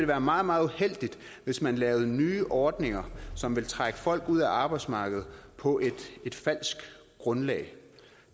være meget meget uheldigt hvis man laver nye ordninger som vil trække folk ud af arbejdsmarkedet på et falsk grundlag